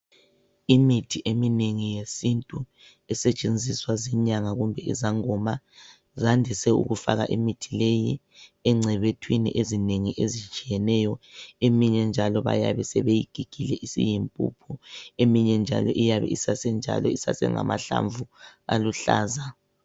Imithi eminengi yesintu esetshenziswa zinyanga kumbe izangoma zandise ukufaka imithi leyi encebethwini ezinengi ezitshiyeneyo eminye njalo bayabe sebeyigigile isiyimpuphu eminye njalo iyabe isase njalo isasengamahlamvu aluhlaza.